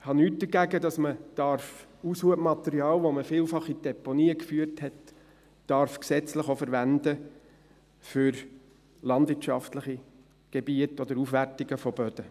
Ich habe nichts dagegen, dass man Aushubmaterial, welches man vielfach in Deponien geführt hat, gesetzlich verwenden darf für landwirtschaftliche Gebiete oder Aufwertungen von Böden.